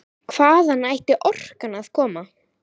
Hvaðan ætti orkan að koma?